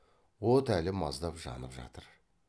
от әлі маздап жанып жатыр